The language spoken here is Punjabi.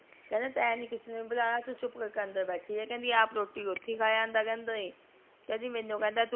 ਕਹੰਦਾ ਤੇ ਨੀ ਕਿਸੇ ਨੂ ਬੁਲਾਨਾ ਚੁਪ ਕਰ ਕੇ ਅੰਦਰ ਬੇਠੀ ਰਹ ਆਪ ਰੋਟੀ ਖਾ ਆਉਂਦਾ ਮੇਨੂ ਕਹਿੰਦਾ